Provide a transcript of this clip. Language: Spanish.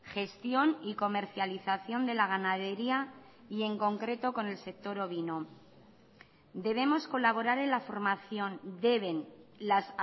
gestión y comercialización de la ganadería y en concreto con el sector ovino debemos colaborar en la formación deben las